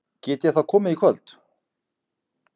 Get ég þá komið í kvöld?